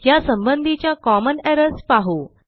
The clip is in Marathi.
ह्या संबंधीच्या कॉमन एरर्स पाहू